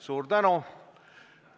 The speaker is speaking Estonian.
Suur tänu!